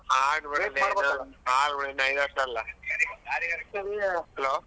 ಆಗ್ಲಿ ಬಿಡು ಇನ್ನ ಐದ್ ವರ್ಷ ಅಲ್ಲ hello .